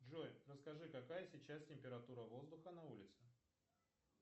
джой расскажи какая сейчас температура воздуха на улице